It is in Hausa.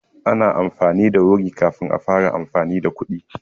An yi amfani da wuri kafin a fara amfani da kuɗi.